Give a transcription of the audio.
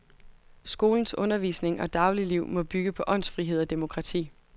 Skolens undervisning og dagligliv må bygge på åndsfrihed og demokrati.